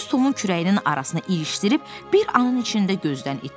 Düz Tomun kürəyinin arasına ilişdirib, bir anın içində gözdən itdi.